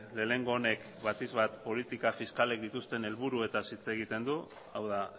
lehenengo honek batik bat politika fiskalek dituzten helburuetaz hitz egiten du hau da